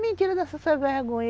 Mentira dessas, essa vergonha.